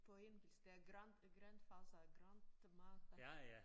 På engelsk der grand øh grandfather og grandmother